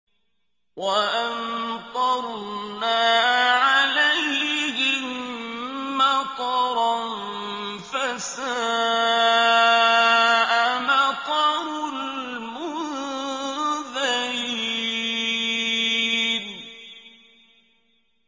وَأَمْطَرْنَا عَلَيْهِم مَّطَرًا ۖ فَسَاءَ مَطَرُ الْمُنذَرِينَ